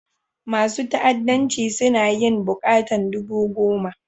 Masun fa'addancin suna yin bukatan dubu goma.